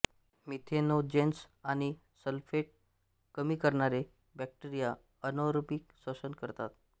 methanogens आणि sulphate कमी करणारे बॅक्टेरिया अनारोबिक श्वसन करतात